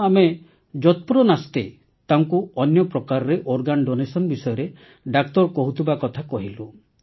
ତେଣୁ ଆମେ ଯତ୍ପରୋନାସ୍ତି ତାଙ୍କୁ ଅନ୍ୟପ୍ରକାରରେ ଅଙ୍ଗଦାନ ବିଷୟରେ ଡାକ୍ତର କହୁଥିବା କଥା କହିଲୁ